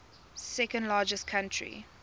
second largest country